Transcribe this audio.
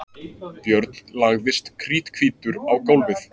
Björn lagðist kríthvítur á gólfið.